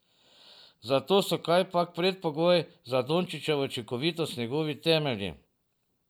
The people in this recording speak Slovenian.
Zato so kajpak predpogoj za Dončićevo učinkovitost njegovi temelji.